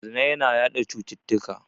Zina yana yaɗa cututtuka.